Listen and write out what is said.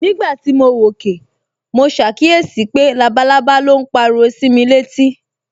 Nígbà tí mo wòkè, mo ṣàkíyèsí pé labalábá ló ń pariwo sí mi létí